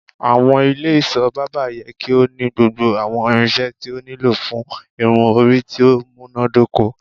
Awọn ile iṣọ Barbing yẹ ki o ni gbogbo awọn irinṣẹ ti o nilo fun irun-ori ti o munadoko